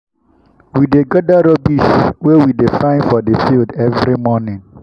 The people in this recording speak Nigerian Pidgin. we dey gather rubbish wey we find for the field every morning.